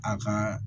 A ka